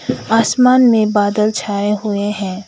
आसमान में बादल छाए हुए हैं।